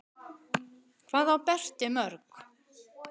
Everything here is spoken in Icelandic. Hvað á Berti mörg?